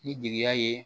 Ni jigiya ye